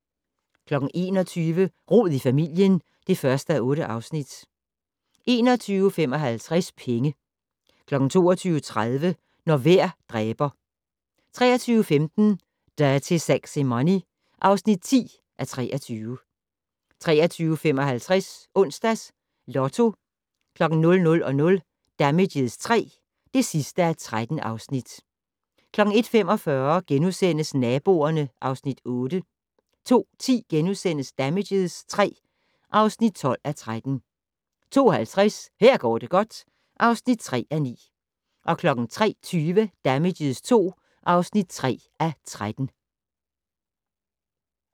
21:00: Rod i familien (1:8) 21:55: Penge 22:30: Når vejr dræber 23:15: Dirty Sexy Money (10:23) 23:55: Onsdags Lotto 00:00: Damages III (13:13) 01:45: Naboerne (Afs. 8)* 02:10: Damages III (12:13)* 02:50: Her går det godt (3:9) 03:20: Damages II (3:13)